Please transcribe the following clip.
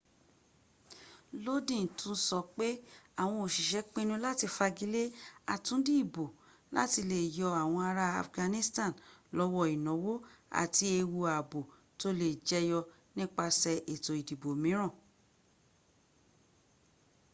lodin tún sọ pẹ àwọn òsisẹ́ pinu láti fagilé àtúndì ìbò láti le yọ àwọn ará afghanistan lọ́wọ́ ìnáwó àti ewu ààbò tó lè jẹyọ nípasè ètò ìdìbò mìíràn